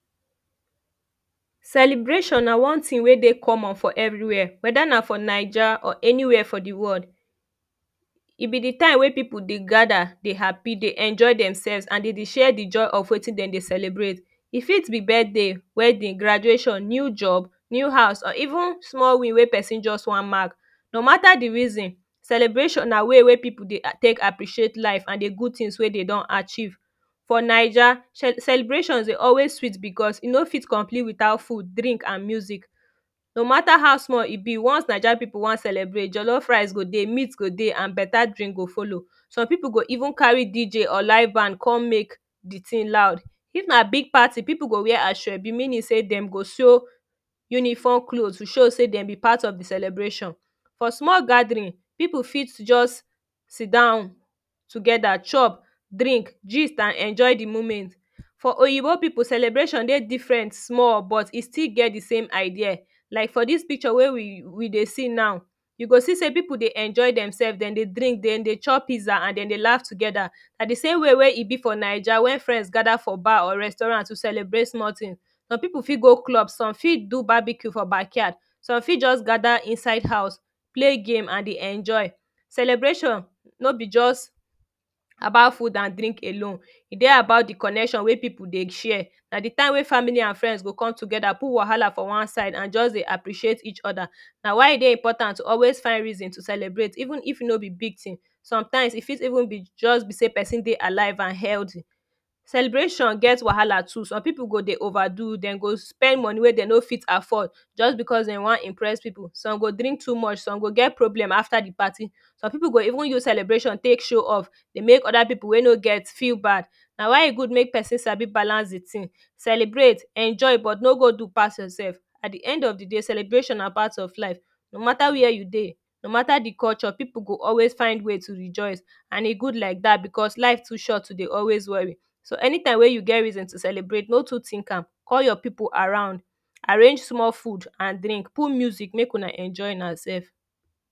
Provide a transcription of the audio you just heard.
Celebration na one tin wey dey common for every wia weda na for naija or any wia for de world e be de time wey people dey gada dey happy dey enjoy dem selves and dem dey dey share de joy of wetin dem dey celebrate e fit be birtday wedding graduation new job new house or even small win wey person wan just mark no Mata de reason celebration na way wey people dey tek appreciate life and de good tin wey dey don achieve for naija celebrations dey always sweet because e no fit complete witout fud drink an music no Mata how small e be once Naija people wan celebrate, jollof rice go dey meat go dey an beta drink go follow. Some people go follow some people go even carry DJ or life band come make de tin loud if na big party people go wear asoebi meaning say dem go sew uniform clothes to show say dem be part of de celebration for small gathering people fit just sit down togeda chop drink gist an enjoy de moment. For oyibo people celebration dey different small but e still get de same idea like for dis picture wey we dey see now you go see say people dey enjoy dem selves dem dey drink dem dey chop pizza and dem dey laugh togeda na de same way wey e be for naija wey friends gada for bar or restaurant to celebrate small tin some people fit go club some fit do barbeque for backyard some fit just gada inside house play game an dey enjoy celebration no be just about food and drink alone. E dey about de connection wey people dey share na de time wey family and friends go coke togeda put wahala for one side an just dey appreciate each other na why e dey important to always find reasons to celebrate even if no be big tin sometime e fit even be just be say person dey alive an healty celebration get wahala too some people go dey over do dem go spend money wey dem no fit afford just becos dem wan Impress people Some go drink too much some go get problem after de party some people go even use celebrations tek show off dey make other people wey no get feel bad na why e gud make person Sabi balance de tin celebrate, enjoy but no go do pass your self at de end of de day celebration na part of life no mata wia you dey no Mata de culture people go always find way to rejoice and e good like dat becos life too short to dey always worry so anytime wey you get reason to celebrate no too tink am call your people around arrange Small fud an drink put music make Una enjoy your self